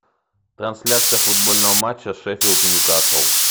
трансляция футбольного матча шеффилд ньюкасл